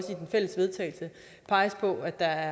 peger på at der